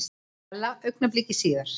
Stella augnabliki síðar.